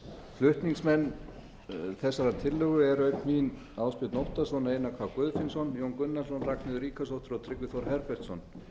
flutningsmenn þessarar tillögu eru auk mín ásbjörn óttarsson einar k guðfinnsson jón gunnarsson ragnheiður ríkharðsdóttir og tryggvi þór herbertsson